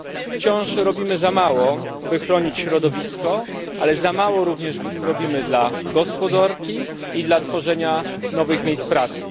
Wciąż robimy za mało, by chronić środowisko, ale za mało również robimy dla gospodarki i dla tworzenia nowych miejsc pracy.